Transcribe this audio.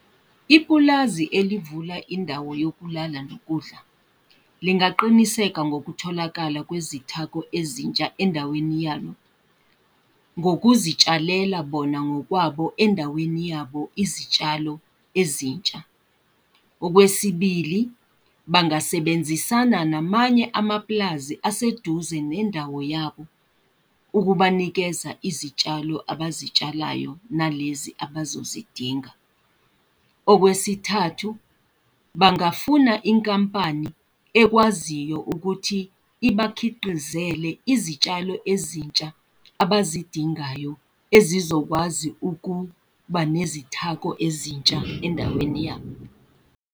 Ipulazi elivula indawo yokulala nokudla, lingaqiniseka ngokutholakala kwezithako ezintsha endaweni yalo, ngokuzitshalela bona ngokwabo endaweni yabo, izitshalo ezintsha. Okwesibili, bangasebenzisana namanye amaplazi aseduze nendawo yabo, ukubanikeza izitshalo abazitshalayo nalezi abazozidinga. Okwesithathu, bangafuna inkampani ekwaziyo ukuthi ibakhiqizele izitshalo ezintsha abazidingayo ezizokwazi ukuba nezithako ezintsha endaweni yabo.